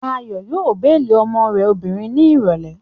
Ayọ̀ yóò béèlì ọmọ rẹ̀ obìnrin ní ìrọ̀lẹ́